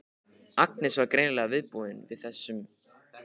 Agnes var greinilega viðbúin þessum viðbrögðum.